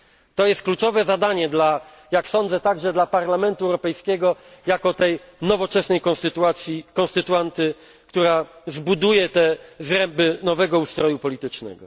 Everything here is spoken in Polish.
To jest kluczowe zadanie, jak sądzę, także dla Parlamentu Europejskiego jako tej nowoczesnej konstytuanty, która zbuduje zręby nowego ustroju politycznego.